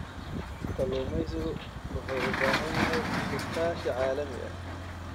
Kalluumaysigu wuxuu u baahan yahay iskaashi caalami ah.